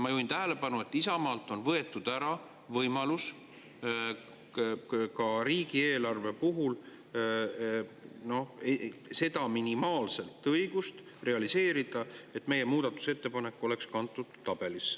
Ma juhin tähelepanu, et Isamaalt on võetud ära võimalus ka riigieelarve puhul realiseerida seda minimaalset õigust, et meie muudatusettepanek oleks kantud tabelisse.